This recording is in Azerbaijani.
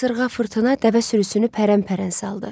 Qasırğa, fırtına dəvə sürüsünü pərəmpərən saldı.